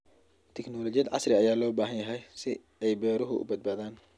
Tignoolajiyada casriga ah ayaa loo baahan yahay si ay beeruhu u badbaadaan.